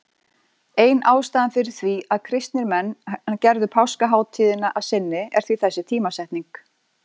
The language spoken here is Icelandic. Ein ástæðan fyrir því að kristnir menn gerðu páskahátíðina að sinni er því þessi tímasetning.